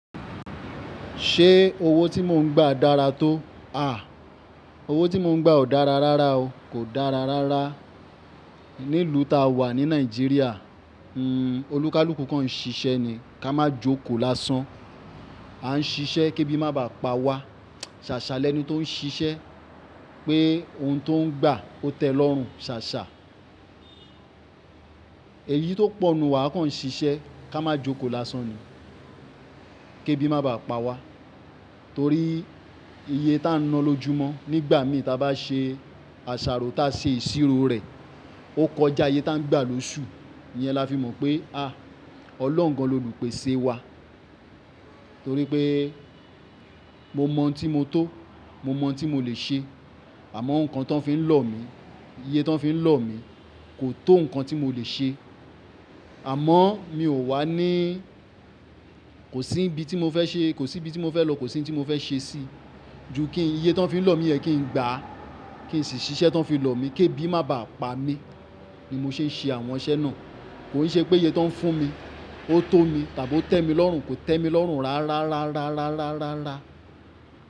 Ṣé owó tí mò ń gbà dára tó? Owó tí mò ń gbà ò dára rárá o. Kò dára rárá. Ní ìlú ta wà ní Nàìjíríà, olúkalúkù kan ń ṣiṣẹ́ ni ká máa jókòó lásán. A ń ṣiṣẹ́ kí ebi má bà pa wa. Sàṣà lẹ́ni tó ń ṣiṣẹ́ pé ohun tó ń gbà ó tẹ́ lọ́rùn, ṣàṣà. Èyí tó pọ ninu wà a kàn ń ṣiṣẹ́ ká máa jókòó lásán ni. Kí ebi má bà pa wa. Torí iye ta ń ná lójú mọ́ nígbà mì ta bá ṣe àṣàrò ta ṣe ìṣirò rẹ̀, ó kọjá iye ta ń gbà lóṣù. Iyẹn la fi mọ̀ pé à, Ọlọ́run gan l'olùpèsè wa. Torí pé mo mọ ohun tí mo tó, mo mọ ohun tí mo lè ṣe. Àmọ́ nǹkan tó ń fi lọ̀ mí, iye tan fi n lọ̀ mí kò tó nǹkan tí mo lè ṣe. Àmọ́ mi ò wà ní, kò sí ibi tí mo fẹ́ ṣe, kò sí ibi tí mo fẹ́ lọ, kò sí ibi tí mo fẹ́ ṣe sí. Ju kí iye tó ń fi lọ̀ mí yẹn kí n gbà á, kí n sì ṣiṣẹ́ tan fi lọ̀ mí, kí ebi má bà pa mí, ni mo ṣe ń ṣe àwọn iṣẹ́ náà. Kò ì ṣe pé iye tan ń fún mi ó tó mi tàbí ó tẹ́ mi lọ́rùn, kò tẹ́ mi lọ́rùn rárá, rárá, rárá, rárá, rárá, rárá.